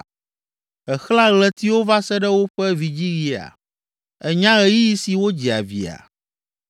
Èxlẽa ɣletiwo va se ɖe woƒe vidziɣia? Ènya ɣeyiɣi si wodzia via?